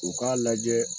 U k'a lajɛ